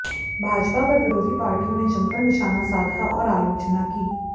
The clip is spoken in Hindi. भाजपा पर विरोधी पार्टियों ने जमकर निशाना साधा और आलोचना की